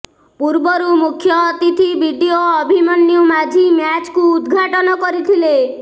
ପୂର୍ବରୁ ମୁଖ୍ୟ ଅତିଥି ବିଡିଓ ଅଭିମନ୍ୟୁ ମାଝୀ ମ୍ୟାଚକୁ ଉଦ୍ଘାଟନ କରିଥିଲେ